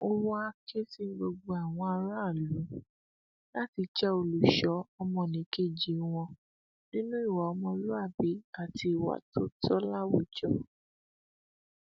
ó wàá ké sí gbogbo àwọn aráàlú láti jẹ olùṣọ ọmọnìkejì wọn nínú ìwà ọmọlúàbí àti ìwà tó tọ láwùjọ